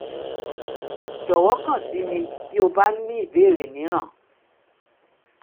jọ̀wọ́ kàn sí mi bí ó bá ní ìbéèrè mìíràn